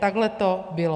Takhle to bylo.